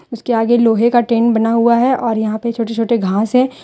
उसके आगे लोहे का टेंट बना हुआ है और यहां पे छोटे छोटे घास है।